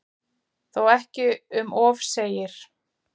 Þó ekki um of segir